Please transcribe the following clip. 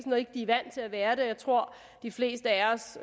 og ikke er vant til at være det jeg tror de fleste af os